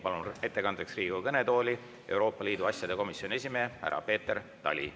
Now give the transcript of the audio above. Palun ettekandeks Riigikogu kõnetooli Euroopa Liidu asjade komisjoni esimehe härra Peeter Tali.